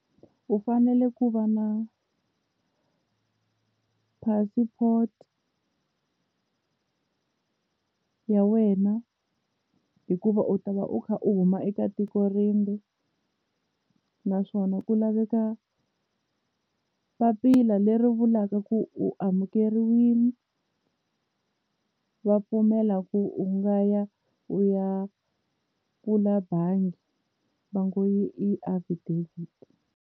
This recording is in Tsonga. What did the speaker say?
U fanele ku va na passport ya wena hikuva u ta va u kha u huma eka tiko rimbe naswona ku laveka papila leri vulaka ku u amukeriwile va pfumela ku u nga ya u ya bangi va ngo yi i affidavit.